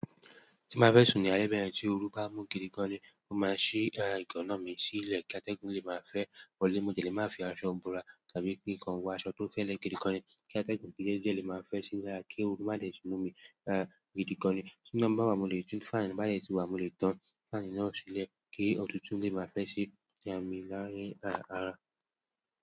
Tí máa fẹ́ sùn ní alẹ́ bẹ́ẹ̀ tí òru bá mú gidi gan ni, mo máa ṣí àwọn èèyàn ìgana mi sílẹ̀ kí atẹ́gùn lè máa fẹ́ wọlé. Mo dẹ̀ lè má fi aṣọ bora àbí pé kí kan wo aṣọ tó fẹ́lẹ́ gidi gan kí atẹ́gùn díẹ̀ lè fẹ́ simi lára kí òru má dé mú mi gidi gan ni. Tí iná bà wá mo lè tún fáànù bádẹ̀tí wá mo lè tàn fáànù náà sílẹ̀ kí ọ̀tútù lè máa fẹ́ sí ìyà mí láàárín ara.